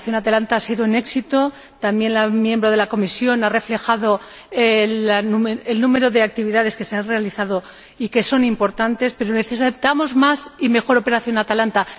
La operación Atalanta ha sido un éxito, también la señora Comisaria ha reflejado el número de actividades que se han realizado y que son importantes, pero necesitamos más y mejor operación Atalanta.